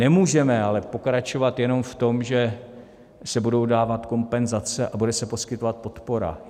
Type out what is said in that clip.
Nemůžeme ale pokračovat jenom v tom, že se budou dávat kompenzace a bude se poskytovat podpora.